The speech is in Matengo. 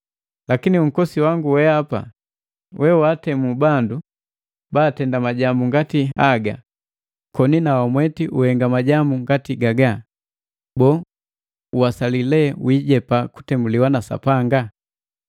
Lakini unkosi wangu weapa we waatemu bandu baatenda majambu ngati haga koni na wamweti uhenga majambu ngati gagaga, boo, uwasali lee wiijepa kutemuliwa na Sapanga?